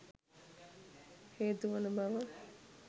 හේතු වන බව